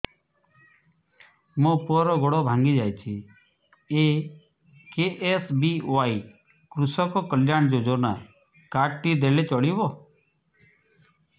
ମୋ ପୁଅର ଗୋଡ଼ ଭାଙ୍ଗି ଯାଇଛି ଏ କେ.ଏସ୍.ବି.ୱାଇ କୃଷକ କଲ୍ୟାଣ ଯୋଜନା କାର୍ଡ ଟି ଦେଲେ ଚଳିବ